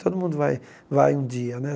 Todo mundo vai vai um dia né.